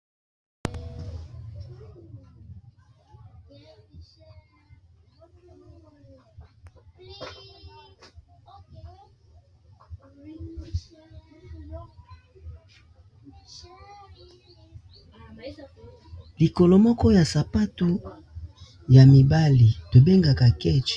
likolo moko ya sapato ya mibali tobengaka ketch